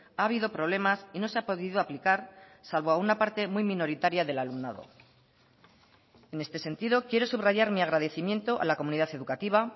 ha habido problemas y no se ha podido aplicar salvo a una parte muy minoritaria del alumnado en este sentido quiero subrayar mi agradecimiento a la comunidad educativa